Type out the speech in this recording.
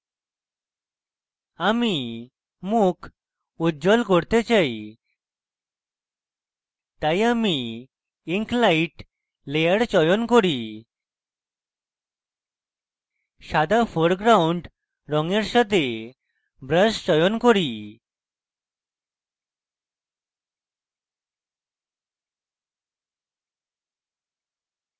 আমি মুখ উজ্জ্বল করতে চাই তাই আমি ink light layer চয়ন করি সাদা foreground রঙের সাথে brush চয়ন করি